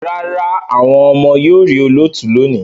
Rárá, àwọn ọmọ yóò rí olóòtú lónìí